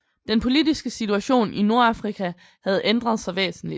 Den politiske situation i Nordafrika havde ændret sig væsentligt